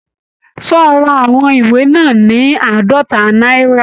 Ṣé o ra àwọn ìwé náà ní àádọ́ta náírà?